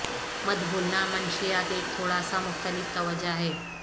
مت بھولنا منشیات ایک تھوڑا سا مختلف توجہ ہے